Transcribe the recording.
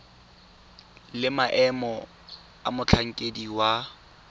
le maemo a motlhankedi wa